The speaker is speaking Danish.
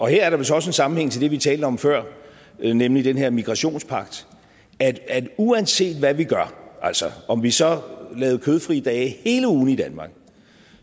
her er der vist også en sammenhæng til det vi talte om før nemlig den her migrationspagt uanset hvad vi gør altså om vi så laver kødfri dage hele ugen i danmark